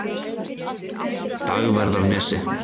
Dagverðarnesi